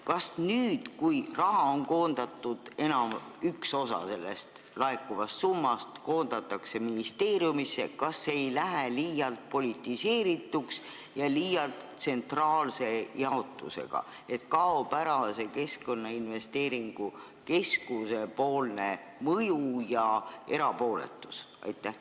Kas nüüd, kui üks osa laekuvast summast koondatakse ministeeriumisse, ei lähe see jaotus liialt politiseerituks ja liialt tsentraalseks, sest kaob ära Keskkonnainvesteeringute Keskuse mõju ja erapooletus?